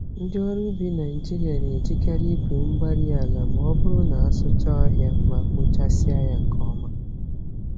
Ndị ọrụ ubi Nigeria na-ejikarị igwe-mgbárí-ala m'ọbụrụ na asụchaa ọhịa ma kpochasịa ya nke ọma